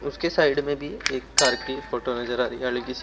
उसके साइड में भी एक कार की फोटो नजर आ रही है हल्की सी।